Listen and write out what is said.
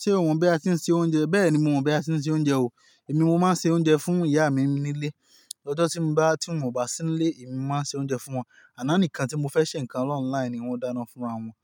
Ṣé o mọ̀ bí a ti ń sè oúnjẹ? Bẹ́ẹ̀ni, mo mọ̀ bí a ti ń sè oúnjẹ o. Èmi, mo máa ń sè oúnjẹ fún ìyá mi nílé. Ọjọ́ tí mo bá, tí wọn bá sì nílé, èmi mo máa ń sè oúnjẹ fún wọn. Àná nìkan tí mo fẹ́ ṣe nǹkan online ni wọ́n dáná fúnra wọn.